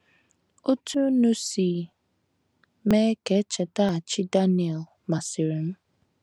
“ Otú unu si mee ka e chetaghachi Daniel masịrị m.